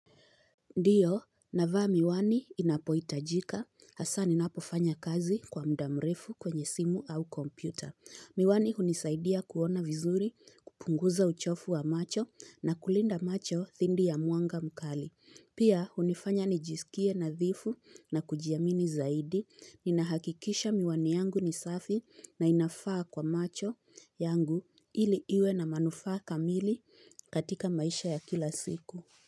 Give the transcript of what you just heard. Ndiyo, navaa miwani inapohitajika, hasa ninapofanya kazi kwa muda mrefu kwenye simu au kompyuta. Miwani hunisaidia kuona vizuri, kupunguza uchovu wa macho na kulinda macho dhidi ya mwanga mkali. Pia, hunifanya nijisikie nadhifu na kujiamini zaidi. Ninahakikisha miwani yangu ni safi na inafaa kwa macho yangu ili iwe na manufaa kamili katika maisha ya kila siku.